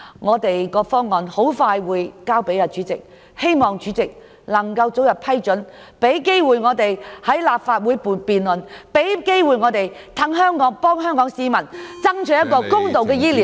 我們的方案即將提交主席處理，希望主席早日批准，讓我們有機會在立法會進行辯論，為香港市民爭取建立更公道的醫療制度。